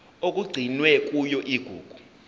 okugcinwe kuyona igugu